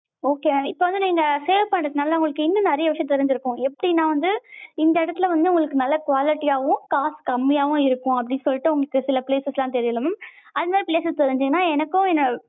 okay mam இப்போ வந்து நீங்க save பண்றனால உங்களுக்கு இன்னும் நெறைய விஷயம் தெரிஞ்சிரிக்கும் எப்படினா வந்து, இந்த எடத்துல வந்து உங்களுக்கு நல்ல quality யாவும் காசு கம்மியாவும் இருக்கும் அப்டி சொல்லிட்டு உங்களுக்கு சில places லா தெரியும்ல mam அது மாதிரி places தெரிஞ்சிதுனா எனக்கும்